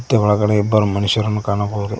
ಮತ್ತೆ ಒಳಗಡೆ ಇಬ್ಬರು ಮನುಷ್ಯರನ್ನು ಕಾಣಬಹುದು.